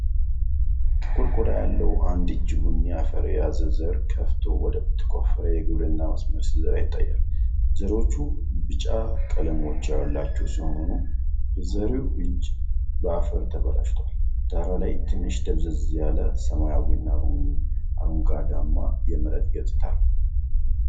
ጥቁር ቆዳ ያለው አንድ እጅ ቡኒ አፈር የያዘ ዘር ከፍቶ ወደ ተቆፈረ የግብርና መስመር ሲዘራ ይታያል። ዘሮቹ ቢጫ ቀለሞች ያሏቸው ሲሆኑ፣ የዘሪው እጅ በአፈር ተበላሽቷል። ዳራው ላይ ትንሽ ደብዘዝ ያለ፣ ሰማያዊና አረንጓዴማ የመሬት ገጽታ አለው።